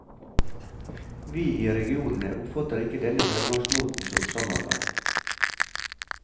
Vi i regionene oppfatter ikke denne fremgangsmåten som samarbeid.